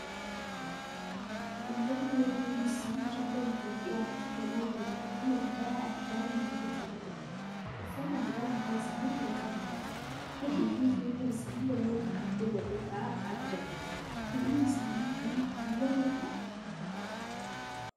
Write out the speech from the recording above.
Uummanni warra mursii kibba Itoophiyaatti kan argamanii fi aadaa addaa namoota qabanidha. Uffata aadaa mataa isaanii kan qabani dha. Hidhii fi fuulli isaanii namoota kan biroo irraa adda dha. Hidhiin isaanii kun uumamadhaa?